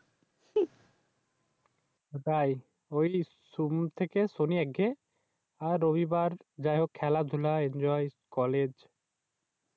আহ তাই? ঐ সোম থেকে শনি একগ্যে আর রবিবার খেলাধুলা Enjoy আর কলেজ